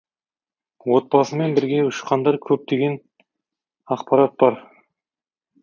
отбасымен бірге ұшқандар көп деген ақпарат бар